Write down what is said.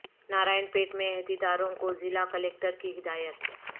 نارائن پیٹ میں عہدیداروں کو ضلع کلکٹر کی ہدایت